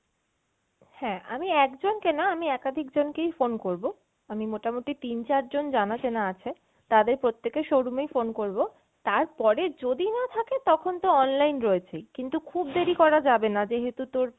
হ্যাঁ আমি একজনকে না আমি একাধিক জন কেই phone করবো, আমি মোটামটি তিন চারজন জানা চেনা আছে তাদের প্রত্যেকের showroom এই phone করবো, তারপরে যদি না থাকে তখন তো online রয়েছেই, কিন্তু খুব দেরি করা যাবেনা যেহেতু তোর